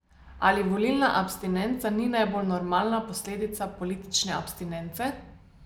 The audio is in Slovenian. Ali volilna abstinenca ni najbolj normalna posledica politične abstinence?